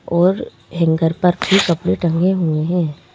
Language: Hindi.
और हैंगर पर फिर कपड़े टंगे हुए हैं।